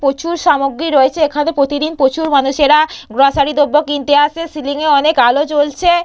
প্রচুর সামগ্রী রয়েছে এখানে প্রতিদিন প্রচুর মানুষেরা গ্রোসারি দ্রব্য কিনতে আসে সিলিংয়ে অনেক আলো জ্বলছে।